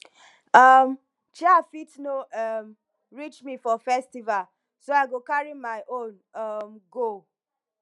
um chair fit no um reach me for festival so i go carry my own um go